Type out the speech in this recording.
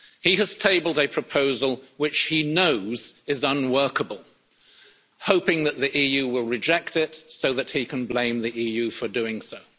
He has tabled a proposal which he knows is unworkable, hoping that the EU will reject it so that he can blame the EU for doing so.